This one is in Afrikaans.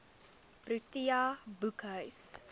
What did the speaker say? protea boekhuis